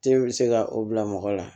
Te be se ka o bila mɔgɔ la